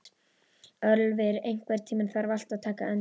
Ölvir, einhvern tímann þarf allt að taka enda.